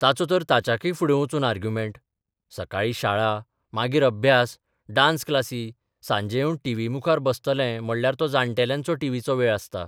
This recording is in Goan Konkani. ताचो तर ताच्याक्य फुडें बचून आर्ग्युमेंट सकाळी शाळा, मागीर अभ्यास, डान्स क्लासी सांजे येवन टीव्ही मुखार बसतलें म्हणल्यार तो जाण्टेल्यांचो टीव्हीचो वेळ आसता.